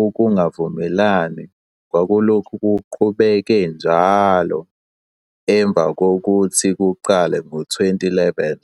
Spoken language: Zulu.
ukungavumelani kwakuloke kuqhubeka njalo emvakokuthi kuqale ngo-2011.